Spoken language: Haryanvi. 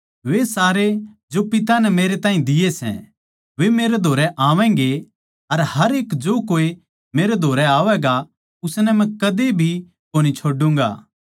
वे सारे जो पिता नै मेरे ताहीं दिये सै वे मेरै धोरै आवैगें अर हर एक जो कोए मेरै धोरै आवैगा उसनै मै कद्दे भी कोनी छोड्डूंगा